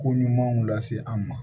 Ko ɲumanw lase an ma